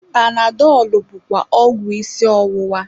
Panadọlụ bụkwa ọgwụ isi ọwụwa.